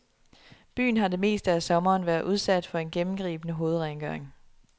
Byen har det meste af sommeren været udsat for en gennemgribende hovedrengøring.